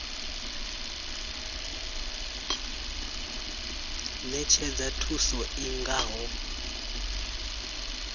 ṅetshedza thuso i nga ho